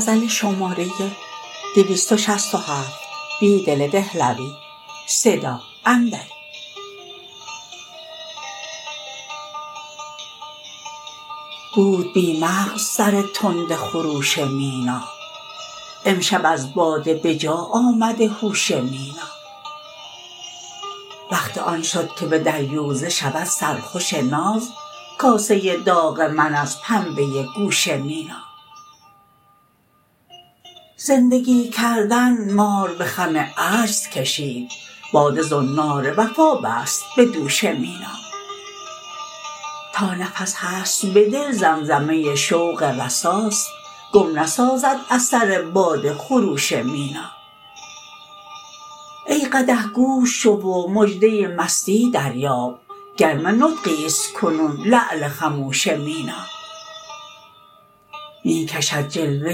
بود بی مغزسرتند خروش مینا امشب از باده به جا آمده هوش مینا وقت آن شدکه به دریوزه شود سر خوش ناز کاسه داغ من ازپنبه گوش مینا زندگی کردن مار به خم عجزکشید باده زنار وفا بست به دوش مینا تانفس هست به دل زمزمه شوق رساست گم نسازد اثر باد ه خروش مینا ای قدح گوش شو و مژدة مستی دریاب گرم نطقی است کنون لعل خموش مینا می کشد جلوة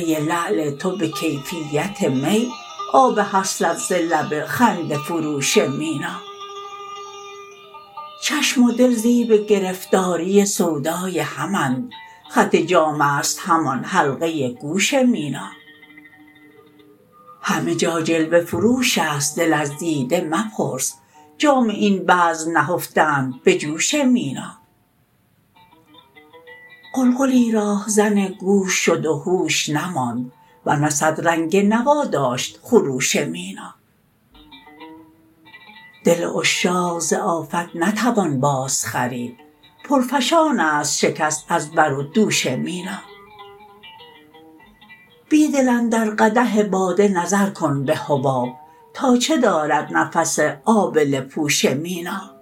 لعل تو به کیفیت می آب حسرت ز لب خنده فروش مینا چشم و دل زیب گرفتاری سودای همند خط جام است همان حلقه گوش مینا همه جا جلوه فروش است دل از دیده مپرس جام این بزم نهفتند به جوش مینا قلقلی راهزن گوش شد و هوش نماند ورنه صد رنگ نوا داشت خروش مینا دل عشاق زآفت نتوان باز خرید پرفشان است شکست از برو دوش مینا بیدل اندر قدح باده نظرکن به حباب تا چه دارد نفس آبله پوش مینا